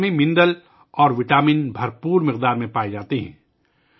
اس پھل میں معدنیات اور وٹامنز وافر مقدار میں پائے جاتے ہیں